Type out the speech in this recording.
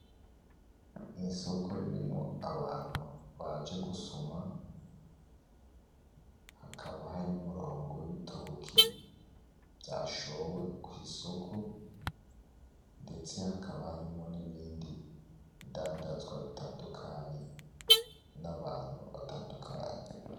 Ni isoko ririmwo abantu baje gusuma hakaba hari n'umurongo w'ibitoki vyashowe kw’isoko ndetse hakaba harimwo n'ibindi bidandazwa bitandukanye n'abantu batandukanye.